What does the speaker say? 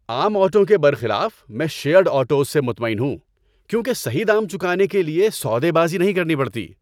عام آٹوؤں کے برخلاف، میں شیٔرڈ آٹوز سے مطمئن ہوں کیونکہ صحیح دام چکانے کے لیے سودا بازی نہیں کرنی پڑتی۔